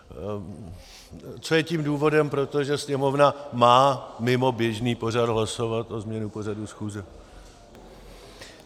Co je tím důvodem, protože Sněmovna má mimo běžný pořad hlasovat o změně pořadu schůze.